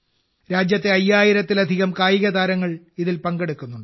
രാജ്യത്തെ അയ്യായിരത്തിലധികം കായികതാരങ്ങൾ ഇതിൽ പങ്കെടുക്കുന്നുണ്ട്